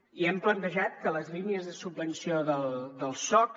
i hem plantejat que les línies de subvenció del soc